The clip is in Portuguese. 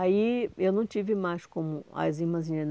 Aí, eu não tive mais como as irmãzinhas.